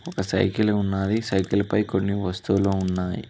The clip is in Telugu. ఆ సైకిల్ ఉన్నది సైకిల్ పై కొన్ని వస్తువులు ఉన్నాయి.